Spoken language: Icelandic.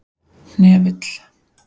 Hnefill